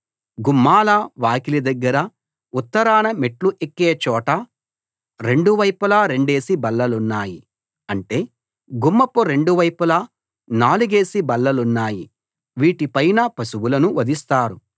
గుమ్మాల వాకిలి దగ్గర ఉత్తరాన మెట్లు ఎక్కే చోట రెండు వైపులా రెండేసి బల్లలున్నాయి అంటే గుమ్మపు రెండు వైపులా నాలుగేసి బల్లలున్నాయి వీటి పైన పశువులను వధిస్తారు